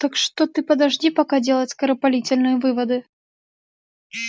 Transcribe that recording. так что ты подожди пока делать скоропалительные выводы